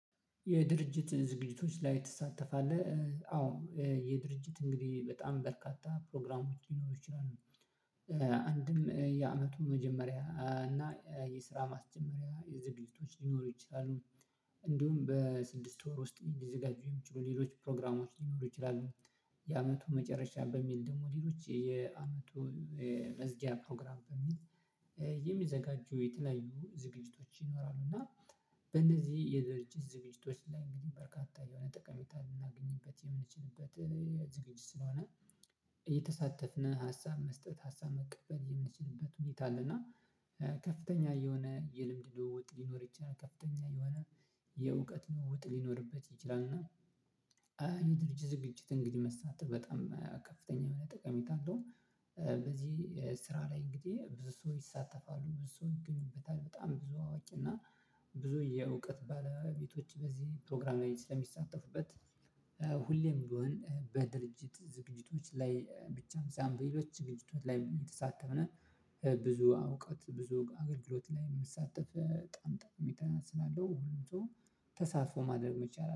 የድርጅት ዝግጅቶች ላይ ትሳተፋለህ? አዎ የድርጅት እንግዲህ በጣም በርካታ ፕሮግራሞች ሊኖሩ ይችላሉ። አንድም የአመቱ መጀመሪያ እና የስራ ማስጀመሪያ ዝግጅቶች ሊኖሩ ይችላሉ። እንዲሁም በስድስት ወር ውስጥ ሊዘጋጁ የሚችሉ ሌሎች ፕሮግራሞች ሊኖሩ ይችላሉ። የአመቱ መጨረሻ በሚል ደግሞ ሌሎች የአመቱ መዝጊያ ፕሮግራም በሚል የሚዘጋጁ የተለያዩ ዝግጅቶች ይኖራሉ። እና በእነዚህ የድረጅት ዝግጅቶች ላይ እንግዲህ በርካታ የሆነ ጠቀሜታ ልናገኝበት የምንችልበት ዝግጅት ስለሆነ የተሳተፍነው ሀሳብ መስጠት ሀሳብ መቀበል የምንችልበት ሁኔታ አለና ከፍተኛ የሆነ የልምድ ልውውጥ ሊኖር ይችላል። ከፍተኛ የሆነ የእውቀት ልውውጥ ሊኖርበት ይችላል። እና የድርጅት ዝግጅት እንግዲህ መሳተፍ በጣም ከፍተኛ ጠቀሜታ አለው። በዚህ ስራ ላይ እንግዲህ ብዙ ሰው ይሳተፋሉ ብዙ ሰው ይገኝበታል በጣም ብዙ አዋቂ እና ብዙ የእውቀት ባለቤቶች በዚህ ፕሮግራም ላይ ስለሚሳተፉበት ሁሌም ቢሆን በድርጅት ዝግጅቶች ላይ ብቻም በሌሎች ድርጅቶች ላይ የምንሳተፍ ነን። ብዙ እውቀት ብዙ አገልግሎት ላይ የምትሳተፍ በጣም በጣም ጥቅም ስላለው ሁሉም ሰው ተሳትፎ ማድረግ መቻል